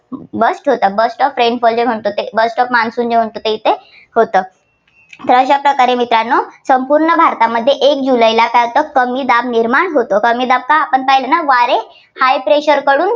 burst होतात. burst of rain जे burst of monsoon जे म्हणतो ते येथे होतं. तर अशा प्रकारे मित्रांनो संपूर्ण भारतात एक जुलैला काय होतं कमी दाब निर्माण होतो. कमी दाब काय आपण पाहिलं न वारे high pressure कडून